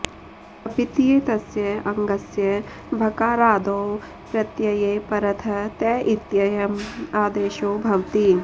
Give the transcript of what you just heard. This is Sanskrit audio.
अपित्येतस्य अङ्गस्य भकारादौ प्रत्यये परतः त इत्ययम् आदेशो भवति